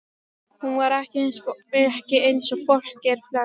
Hún var ekki eins og fólk er flest.